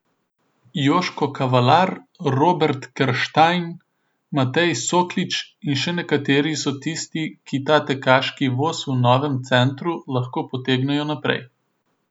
Joško Kavalar, Robert Kerštajn, Matej Soklič in še nekateri so tisti, ki ta tekaški voz v novem centru lahko potegnejo naprej.